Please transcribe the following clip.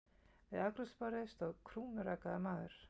Við afgreiðsluborðið stóð krúnurakaður maður.